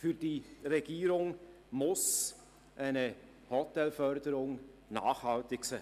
Für die Regierung muss eine Hotelförderung nachhaltig sein.